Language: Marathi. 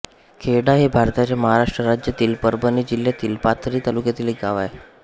खेर्डा हे भारताच्या महाराष्ट्र राज्यातील परभणी जिल्ह्यातील पाथरी तालुक्यातील एक गाव आहे